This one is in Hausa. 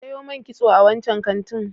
Ki sayo man kitso a wancan kantin.